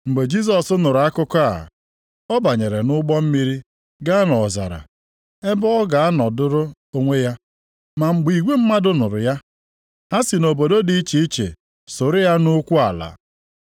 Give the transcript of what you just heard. Mgbe Jisọs nụrụ akụkọ a, ọ banyere nʼụgbọ mmiri gaa nʼọzara, ebe ọ ga-anọdụrụ onwe ya. Ma mgbe igwe mmadụ nụrụ ya, ha si obodo dị iche iche sooro ya nʼukwu ala.